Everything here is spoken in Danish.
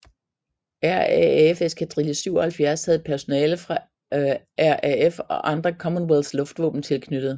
RAAF eskadrille 77 havde personale fra RAF og andre Commonwealth luftvåben tilknyttet